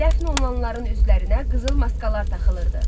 Dəfn olunanların üzlərinə qızıl maskalar taxılırdı.